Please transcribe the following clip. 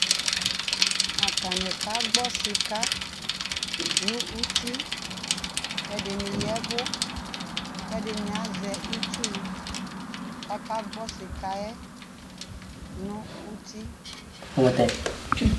Atanɩ kagbɔ sɩka nʋ uti, ɛdɩnɩ ya ɛvʋ, kʋ ɛdɩnɩ azɛ itsu, kʋ akagbɔ sɩka yɛ nʋ uti